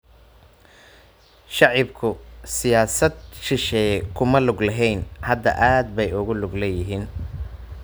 Shicibku siyaasad shisheeye kuma lug lahayn. Hadda aad bay ugu lug leeyihiin.